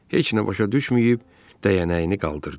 Heç nə başa düşməyib dəyənəyini qaldırdı.